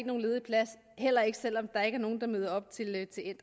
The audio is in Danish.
nogen ledig plads heller ikke selv om der er nogle der ikke møder op til